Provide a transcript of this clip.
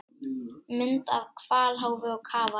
Mynd af hvalháfi og kafara.